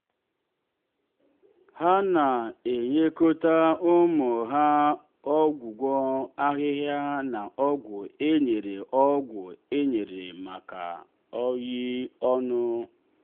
ha na-enyekọta ụmụ ha ọgwụgwọ ahịhịa na ọgwụ e nyere ọgwụ e nyere maka oyi ọnụ.